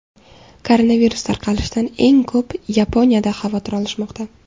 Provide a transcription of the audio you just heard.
Koronavirus tarqalishidan eng ko‘p Yaponiyada xavotir olishmoqda .